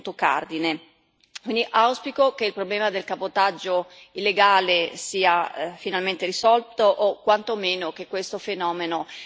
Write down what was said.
Auspico che il problema del cabotaggio illegale sia finalmente risolto o, quanto meno, che questo fenomeno venga arginato.